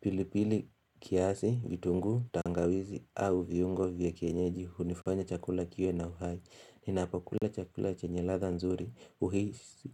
pilipili kiazi, vitungu, tangawizi au viongo vya kenyeji hunifanya chakula kiyo na uhai Ninapakula chakula chenye latha nzuri uhisi.